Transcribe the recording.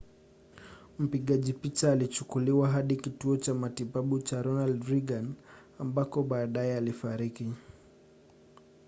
mpigaji picha alichukuliwa hadi kituo cha matibabu cha ronald reagan ambako baadaye alifariki